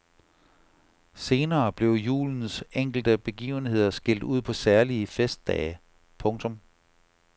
Senere blev julens enkelte begivenheder skilt ud på særlige festdage. punktum